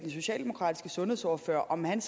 socialdemokratiske sundhedsordfører om han